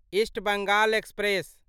east Bengal express